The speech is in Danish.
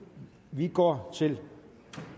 vi går til